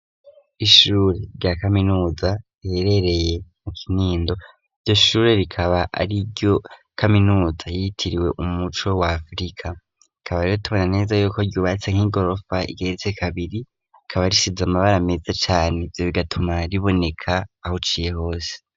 Ishure rya kaminuza riherereye mu kinindo iryo shure rikaba ari iryo kaminuza ryitiriwe umuco wa afrika rikaba rero tubona neza yuko ryubatse nk'igorofa igeretse kabiri ikaba risize amabara meza cane ivyo bigatuma riboneka aho uciye hose.